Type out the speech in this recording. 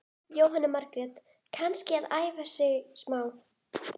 Gluggatjöld bærast í húsi yfir þeim, andlit lítur út.